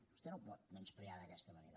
vostè no ho pot menysprear d’aquesta manera